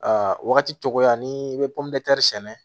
Aa wagati tɔgɔya ni i bɛ sɛnɛ